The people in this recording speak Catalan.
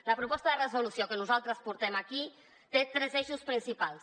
la proposta de resolució que nosaltres portem aquí té tres eixos principals